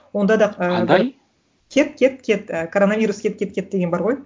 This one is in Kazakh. онда да қандай кет кет кет і коронавирус кет кет кет деген бар ғой